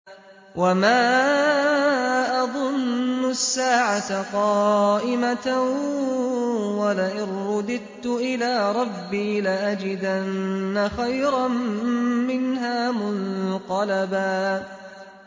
وَمَا أَظُنُّ السَّاعَةَ قَائِمَةً وَلَئِن رُّدِدتُّ إِلَىٰ رَبِّي لَأَجِدَنَّ خَيْرًا مِّنْهَا مُنقَلَبًا